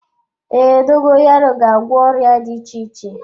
Ee, dogoyaro ga-agwọ ọrịa dị iche iche.